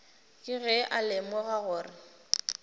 ke ge a lemoga gore